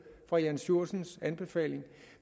fra jann sjursens anbefalinger og